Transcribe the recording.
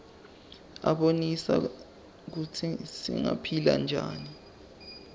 abonisa kutsi singaphila njani